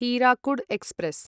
Hirakud express